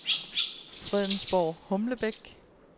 Fredensborg-Humlebæk